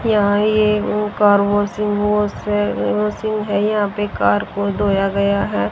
यहां ये वो कार वाशिंग वॉश है वाशिंग है ये यहां कार को धोया गया है।